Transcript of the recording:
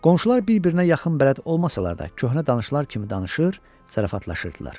Qonşular bir-birinə yaxın bələd olmasalar da, köhnə tanışlar kimi danışır, zarafatlaşırdılar.